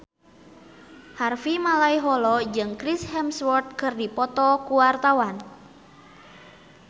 Harvey Malaiholo jeung Chris Hemsworth keur dipoto ku wartawan